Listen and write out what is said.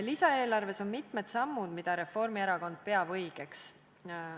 Lisaeelarves on mitmed sammud, mida Reformierakond peab õigeks.